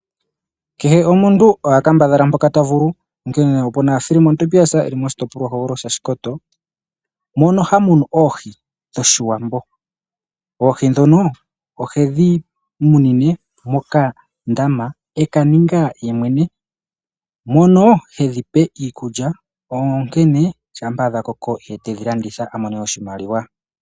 Kehe omuntu oha kambadhala mpoka ta vulu onkene opuna Fillemon Tobias e li moshitopolwa hogololo shaShikoto mono hamunu oohi dhoshiwambo, oohi dhono ohedhi munine mokandama e kaninga yemwene mono hedhipe iikulya onkene shapa dha koko etedhi landitha a mone oshimaliwa.